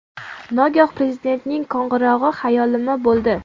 Nogoh Prezidentning qo‘ng‘irog‘i xayolimni bo‘ldi.